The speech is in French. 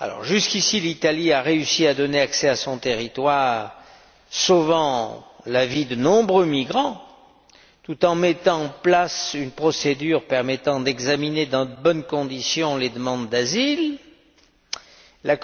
Jusqu'ici l'Italie a réussi à donner accès à son territoire, sauvant la vie de nombreux migrants tout en mettant en place une procédure permettant d'examiner les demandes d'asile dans de bonnes conditions.